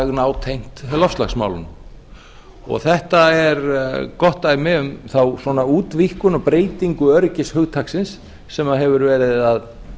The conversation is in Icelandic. nátengt loftslagsmálunum þetta er gott dæmi um þá útvíkkun og breytingu öryggishugtaksins sem hefur verið að